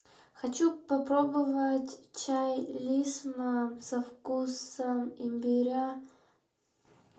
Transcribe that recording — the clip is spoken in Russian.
хочу попробовать чай лисма со вкусом имбиря